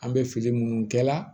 An bɛ fili minnu kɛ la